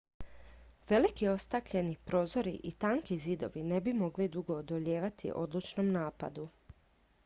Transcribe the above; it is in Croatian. veliki ostakljeni prozori i tanki zidovi ne bi mogli dugo odolijevati odlučnom napadu